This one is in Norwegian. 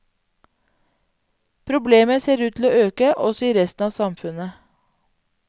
Problemet ser ut til å øke også i resten av samfunnet.